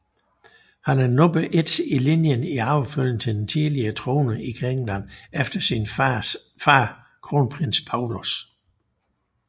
Han er nummer et i linjen i arvefølgen til den tidligere trone i Grækenland efter sin far kronprins Pavlos